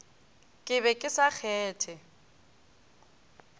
ke be ke sa kgethe